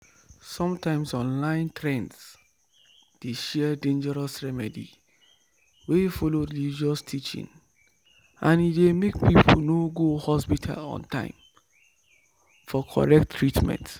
sometimes online trend dey share dangerous remedy wey follow religious teaching and e dey make people no go hospital on time for correct treatment